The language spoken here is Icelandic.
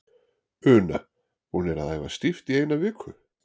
Una: Búnir að æfa stíft í eina viku?